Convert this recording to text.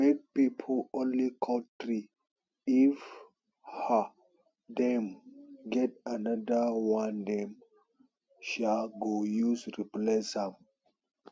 make pipo only cut tree if um dem get anodir one dem um go use replace am